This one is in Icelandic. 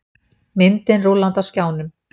Myndin rúllandi á skjánum.